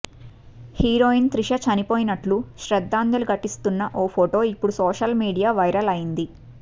heroine Trisha చనిపోయినట్లు శ్రద్ధాంజలి ఘటిస్తున్న ఓ ఫొటో ఇప్పుడు సోషల్ మీడియా వైరల్ అయ్యింది